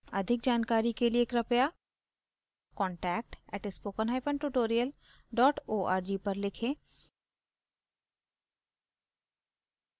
अधिक जानकारी के लिए कृपया contact @spokentutorial org पर लिखें